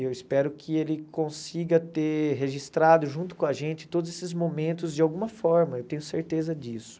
Eu espero que ele consiga ter registrado junto com a gente todos esses momentos de alguma forma, eu tenho certeza disso.